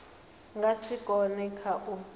nga si kone kha u